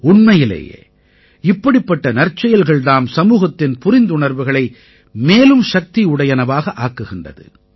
உண்மையிலேயே இப்படிப்பட்ட நற்செயல்கள் தாம் சமூகத்தின் புரிந்துணர்வுகளை மேலும் சக்தியுடையதாக ஆக்குகிறது